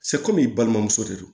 i balimamuso de don